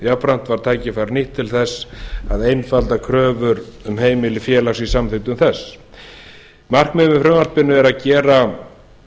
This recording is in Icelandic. jafnframt var tækifærið nýtt til að einfalda kröfur um heimili félags í samþykktum þess markmiðið með frumvarpinu er að gera